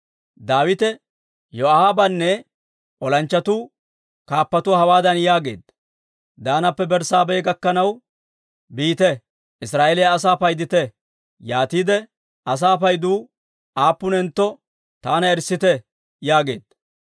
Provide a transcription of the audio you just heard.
Daawite Yoo'aabanne olanchchatuu kaappatuwaa hawaadan yaageedda; «Daanappe Berssaabeha gakkanaw biite; Israa'eeliyaa asaa paydite. Yaatiide asaa paydu aappunentto taana erissite» yaageedda.